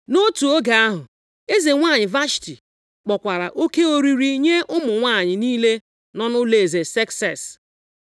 Nʼotu oge ahụ, eze nwanyị Vashti, kpọkwara oke oriri nye ụmụ nwanyị niile nọ nʼụlọeze, Sekses.